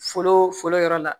Foolo foro yɔrɔ la